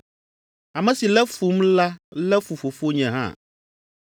Ame si lé fum la lé fu Fofonye hã.